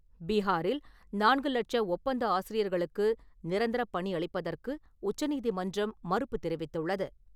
பீஹாரில் நான்கு லட்சம் ஒப்பந்த ஆசிரியர்களுக்கு நிரந்தர பணி அளிப்பதற்கு உச்சநீதிமன்றம் மறுப்பு தெரிவித்துள்ளது.